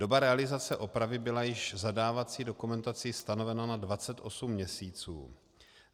Doba realizace opravy byla již v zadávací dokumentaci stanovena na 28 měsíců.